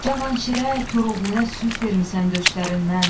Cavanşirə, Koroğluya süd vermisən döşlərindən.